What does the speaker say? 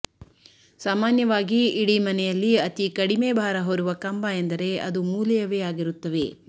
ಸಾಮಾನ್ಯವಾಗಿ ಇಡಿ ಮನೆಯಲ್ಲಿ ಅತಿ ಕಡಿಮೆ ಬಾರ ಹೊರುವ ಕಂಬ ಎಂದರೆ ಅದು ಮೂಲೆಯವೇ ಆಗಿರುತ್ತವೆ